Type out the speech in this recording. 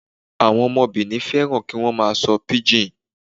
Àwọn ọmọ Benin fẹ́ràn kí wọ́n máa sọ píjìn.